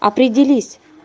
определись